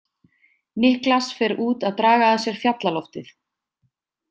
Niklas fer út að draga að sér fjallaloftið.